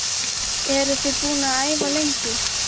Eruð þið búin að æfa lengi?